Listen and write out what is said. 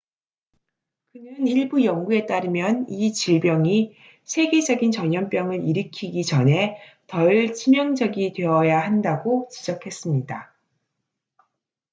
그는 일부 연구에 따르면 이 질병이 세계적인 전염병을 일으키기 전에 덜 치명적이 되어야 한다고 지적했습니다